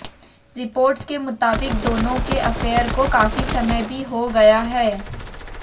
reports के मुताबिक दोनों के अफेयर को काफी समय भी हो गया है